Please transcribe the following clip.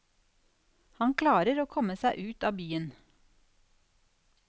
Han klarer å komme seg ut av byen.